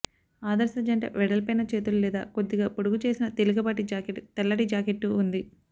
ఆదర్శ జంట వెడల్పైన చేతులు లేదా కొద్దిగా పొడుగుచేసిన తేలికపాటి జాకెట్ తెల్లటి జాకెట్టు ఉంది